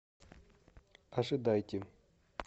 ожидайте